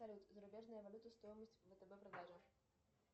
салют зарубежная валюта стоимость втб продажа